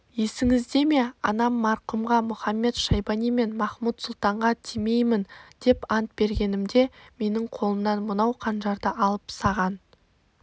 есіңізде ме анам марқұмға мұхамед-шайбани мен махмуд-сұлтанға тимеймін деп ант бергенімде менің қолымнан мынау қанжарды алып саған